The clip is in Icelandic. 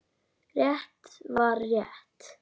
Rétt var rétt.